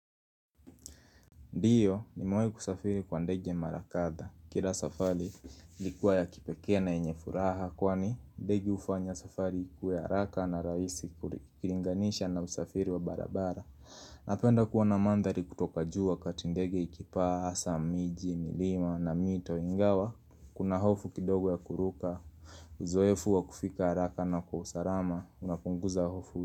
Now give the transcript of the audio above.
Ndiyo nimewahi kusafiri kwa ndege ya mara kadha Kila safari ilkuwa ya kipekee na yenye furaha Kwani ndege hufanya safari ikuwe haraka na rahisi ukuringanisha na usafiri wa barabara Napenda kuwa na mandhari kutoka juu wakati ndege ikipaa, hasa, miji, milima na mito ingawa Kuna hofu kidogo ya kuruka Uzoefu wa kufika haraka na kwa usalama Unapunguza hofu.